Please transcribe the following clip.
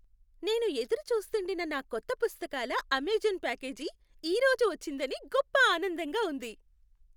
నేను ఎదురు చూస్తూండిన నా కొత్త పుస్తకాల అమెజాన్ ప్యాకేజీ ఈ రోజు వచ్చిందని గొప్ప ఆనందంగా ఉంది.